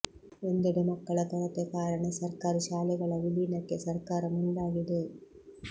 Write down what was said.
ಒಂದೆಡೆ ಮಕ್ಕಳ ಕೊರತೆ ಕಾರಣ ಸರ್ಕಾರಿ ಶಾಲೆಗಳ ವಿಲೀನಕ್ಕೆ ಸರ್ಕಾರ ಮುಂದಾಗಿದೆ